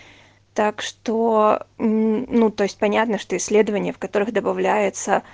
так что ну то есть понятно что исследования в которых добавляется